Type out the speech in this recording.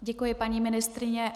Děkuji, paní ministryně.